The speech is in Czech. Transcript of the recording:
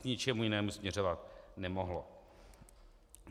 K ničemu jinému směřovat nemohlo.